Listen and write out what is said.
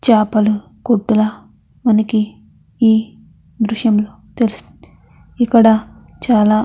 చాపలా కొట్టులా మనకి ఈ దృశ్యంలో తెలుస్తుంది. ఇక్కడ చాలా.--